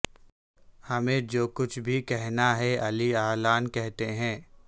ہمیں جو کچھ بھی کہنا ہے علی الاعلان کہتے ہیں